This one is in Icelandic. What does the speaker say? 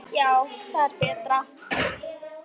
Já, það er betra.